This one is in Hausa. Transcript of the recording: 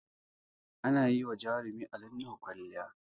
Ana yi wa jarumi Ali Nuhu kwalliya